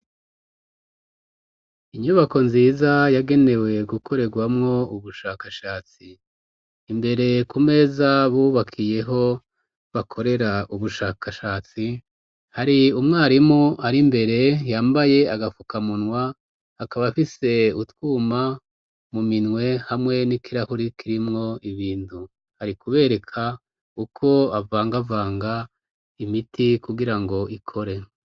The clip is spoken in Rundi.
Inyubako nziza yagenewe gukorerwamwo ubushakashatsi imbere ku meza bubakiyeho bakorera ubushakashatsi hari umwarimu ari imbere yambaye agapfuka munwa akaba afise utwuma mu minwehmu mwe ni ikirahuri kirimwo ibintu ari kubereka uko avanga avanga imiti kugira ngo ikore.